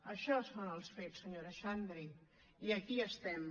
això són els fets senyora xandri i aquí estem